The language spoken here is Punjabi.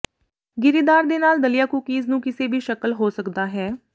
ਗਿਰੀਦਾਰ ਦੇ ਨਾਲ ਦਲੀਆ ਕੂਕੀਜ਼ ਨੂੰ ਕਿਸੇ ਵੀ ਸ਼ਕਲ ਹੋ ਸਕਦਾ ਹੈ